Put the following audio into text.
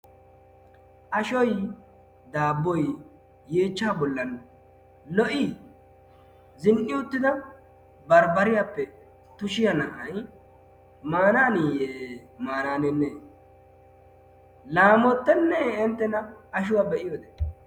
Ashoy, daabboy yeechchaa bollan lo"ii? Zin'i uttida barbbariyappe tushiya na'ay maanaaniyee maanaanenee? Laamottenne enttena ashuwa be"iyode?